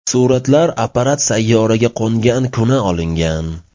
Suratlar apparat sayyoraga qo‘ngan kuni olingan.